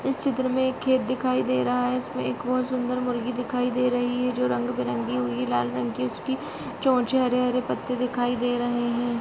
इस चित्र में एक खेत दिखाई दे रहा है। इसमें एक बहोत सुंदर मुर्गी दिखाई दे रही है जो रंगबेरंगी हुई। लाल रंग की उसकी चोंच है हरे - हरे पत्ते दिखाई दे रहे हैं।